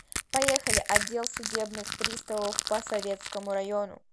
поехали отдел судебных приставов по советскому району